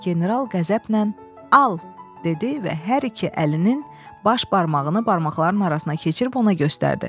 General qəzəblə al dedi və hər iki əlinin baş barmağını barmaqların arasına keçirib ona göstərdi.